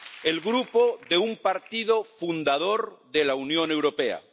el Grupo de un partido fundador de la Unión Europea